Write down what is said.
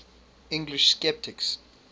english sceptics